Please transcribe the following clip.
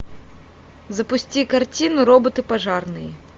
запусти картину роботы пожарные